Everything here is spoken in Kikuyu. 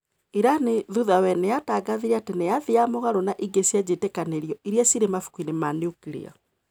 Iran thutha wee niyatagathire ati niyathiaga mugaro na inge cia njitikanirio iria cire mabukuini ma nuclear.